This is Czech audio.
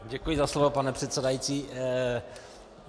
Děkuji za slovo, pane předsedající.